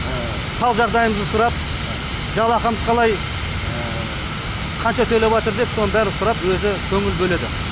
хал жағдайымызды сұрап жалақымыз қалай қанша төлеп атыр деп соның бәрін сұрап өзі көңіл бөледі